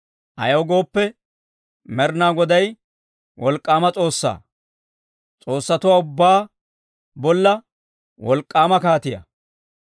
Ayaw gooppe, Med'inaa Goday wolk'k'aama S'oossaa, s'oossatuwaa ubbaa bolla wolk'k'aama kaatiyaa.